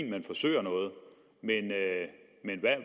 at man forsøger noget men